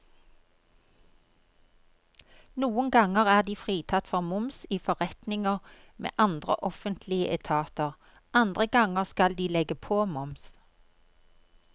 Noen ganger er de fritatt for moms i forretninger med andre offentlige etater, andre ganger skal de legge på moms.